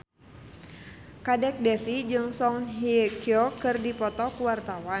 Kadek Devi jeung Song Hye Kyo keur dipoto ku wartawan